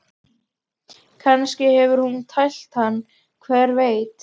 Kannski hefur hún tælt hann, hver veit?